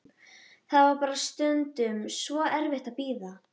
Það var bara stundum svo erfitt að bíða.